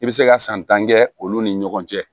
I bɛ se ka san tan kɛ olu ni ɲɔgɔn cɛ